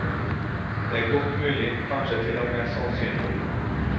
Dette er godt mulig, kanskje til og med sannsynlig.